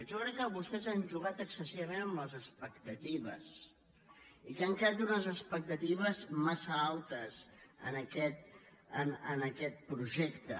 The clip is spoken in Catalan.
jo crec que vostès han jugat excessivament amb les expectatives i que han creat unes expectatives massa altes en aquest projecte